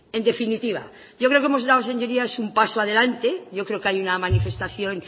en definitiva yo creo que hemos dado señorías un paso adelante yo creo que hay una manifestación